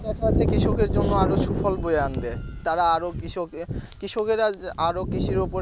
কৃষকের জন্য আরো সুফল আনবে তারা আরো কৃষককে কৃষকেরা আরো কৃষির ওপর